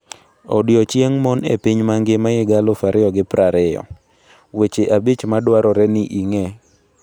Odiechieng Mon e Piny Mangima 2020: Weche Abich Madwarore ni Ing'e